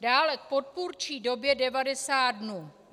Dále k podpůrčí době 90 dnů.